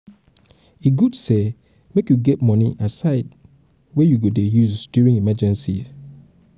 e good say make you get money aside wey you go dey use during emergencies